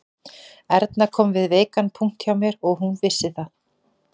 Erna kom við veikan punkt hjá mér og hún vissi það